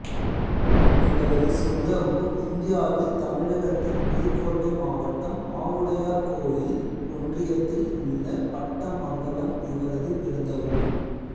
இவரது சொந்த ஊர் இந்தியாவில் தமிழகத்தில் புதுக்கோட்டை மாவட்டம் ஆவுடையார்கோயில் ஒன்றியத்தில் உள்ள பட்டமங்கலம் இவரது பிறந்த ஊர்